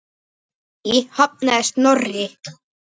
Því hafnaði Snorri.